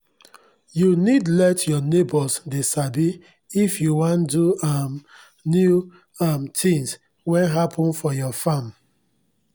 u need let your neigbors dey sabi if u wan do any um new um tins wen happen for your farm